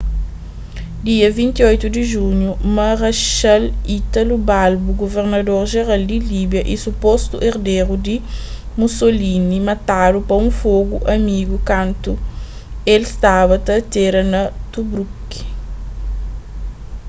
dia 28 di junhu marechal italo balbo guvernador jeral di líbia y supostu erderu di mussolini matadu pa un fogu amigu kantu el staba ta atera na tobruk